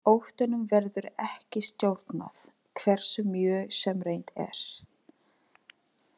Óttanum verður ekki stjórnað, hversu mjög sem reynt er.